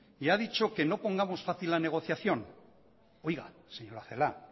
y ha dicho que no pongamos fácil la negociación oiga señora celaá